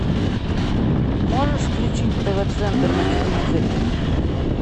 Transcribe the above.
можешь включить тв центр на телевизоре